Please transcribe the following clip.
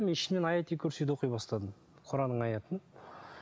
мен ішімнен аят аль курсиді оқи бастадым құранның аятын